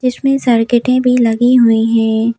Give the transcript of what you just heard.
जिसमें सर्किटें भी लगी हुई हैं।